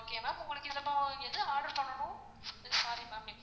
okay வா உங்களுக்கு என்ன order பண்ணனும் sorry ma'am